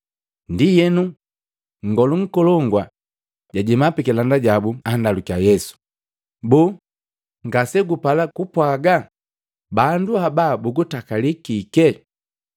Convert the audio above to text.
Ndienu, Nngolu Nkolongu jajema pikilanda jabu, andalukiya Yesu, “Boo, ngasegupala kupwaga? Bandu haba bugutakalii kike?”